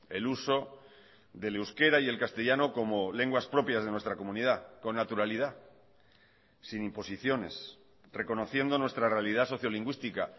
el uso del euskera y el castellano como lenguas propias de nuestra comunidad con naturalidad sin imposiciones reconociendo nuestra realidad sociolingüística